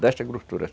Desta grossura assim.